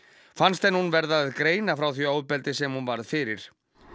fannst henni hún verða að greina frá því ofbeldi sem hún varð fyrir